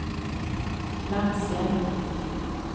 Lansjärv